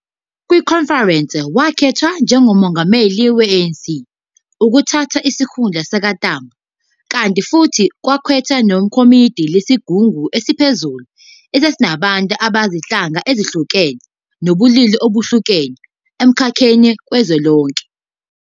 Kwikhonferense, wakhethwa njengoMongameli we-ANC, ukuthatha isikhundla sikaTambo, kanti futhi kwakhethwa nekomidi lesigungu esiphezulu esasinabantu bezinhlanga ezehlukene nabobulili obehlukene, emkhakheni kazwelonke.